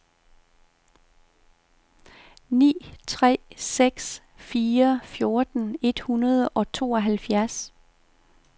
ni tre seks fire fjorten et hundrede og tooghalvfjerds